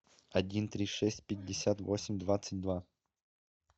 один три шесть пятьдесят восемь двадцать два